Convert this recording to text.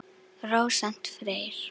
Rósant Freyr.